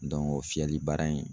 o fiyɛli baara in